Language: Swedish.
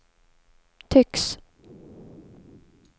tycks